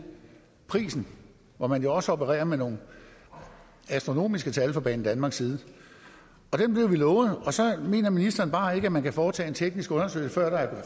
prisen hvor man også opererer med nogle astronomiske tal fra banedanmarks side dem blev vi lovet og så mener ministeren bare ikke at man kan foretage en teknisk undersøgelse før der er